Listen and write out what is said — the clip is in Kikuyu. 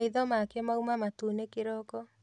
Maitho make mauma matune kĩroko